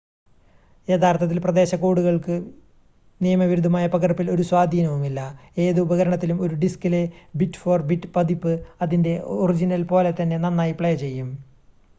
യഥാർത്ഥത്തിൽ പ്രദേശ കോഡുകൾക്ക് നിയമവിരുദ്ധമായ പകർപ്പിൽ ഒരു സ്വാധീനവുമില്ല ഏത് ഉപകരണത്തിലും ഒരു ഡിസ്കിലെ ബിറ്റ്-ഫോർ-ബിറ്റ് പകർപ്പ് അതിൻ്റെ ഒറിജിനൽ പോലെ തന്നെ നന്നായി പ്ലേ ചെയ്യും